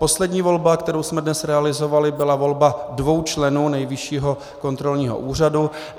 Poslední volba, kterou jsme dnes realizovali, byla volba dvou členů Nejvyššího kontrolního úřadu.